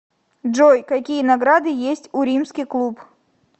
джой какие награды есть у римский клуб